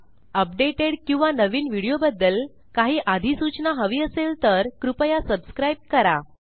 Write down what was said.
updated किंवा नवीन व्हिडिओबदद्ल काही आधिसूचना हवी असेल तर कृपया subscribeकरा